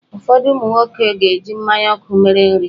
Ụfọdụ ụmụ nwoke ga-eji mmanya ọkụ mere nri.